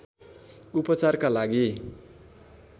उपचारका लागि